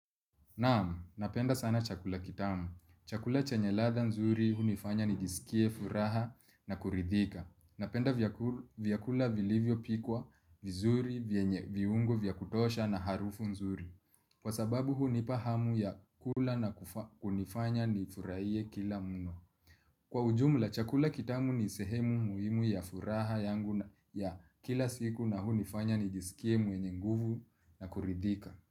Naam, napenda sana chakula kitamu. Chakula chenye ladha nzuri hunifanya nijisikie furaha na kuridhika. Napenda vyakula vilivyopikwa, vizuri, vyenye viungo, vya kutosha na harufu nzuri. Kwa sababu hunipa hamu ya kula na kunifanya nifurahie kila mno. Kwa ujumla, chakula kitamu ni sehemu muhimu ya furaha yangu ya kila siku na hunifanya nijisikie mwenye nguvu na kuridhika.